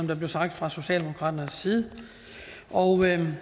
der blev sagt fra socialdemokratiets side og